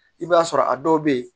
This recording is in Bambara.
I b'a sɔrɔ a dɔw be yen